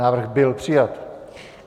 Návrh byl přijat.